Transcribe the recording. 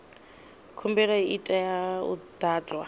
khumbelo i tea u ḓadzwa